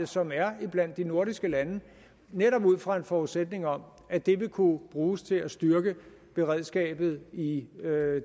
som er iblandt de nordiske lande netop ud fra en forudsætning om at det vil kunne bruges til at styrke beredskabet i i